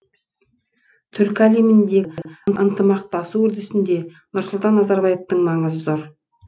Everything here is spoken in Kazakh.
түркі әлеміндегі ынтымақтасу үрдісінде нұрсұлтан назарбаевтың маңызы зор